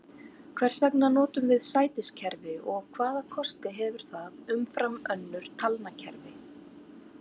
Hvers vegna notum við sætiskerfi og hvaða kosti hefur það umfram önnur talnakerfi?